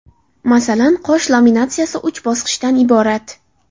Masalan, qosh laminatsiyasi uch bosqichdan iborat.